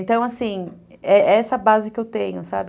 Então, assim, é é essa base que eu tenho, sabe?